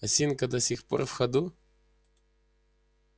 осинка до сих пор в ходу